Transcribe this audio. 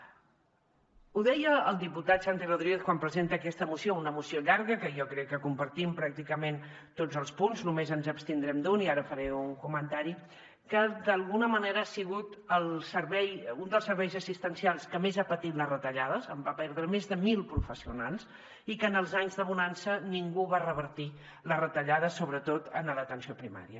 ho deia el diputat santi rodríguez quan presenta aquesta moció una moció llarga que jo crec que compartim pràcticament tots els punts només ens abstindrem d’un i ara faré un comentari que d’alguna manera ha sigut un dels serveis assistencials que més ha patit les retallades va perdre més de mil professionals i que en els anys de bonança ningú va revertir les retallades sobretot en l’atenció primària